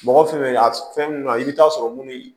Mɔgɔ fɛn fɛn bɛ a fɛn min na i bɛ taa sɔrɔ minnu